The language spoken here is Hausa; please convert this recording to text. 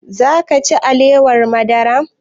Za ka ci alewar madara?